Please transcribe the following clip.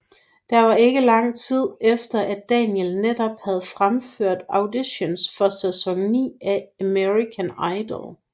Det var ikke lang tid efter at Daniel netop havde fremført auditions for sæson 9 af American Idol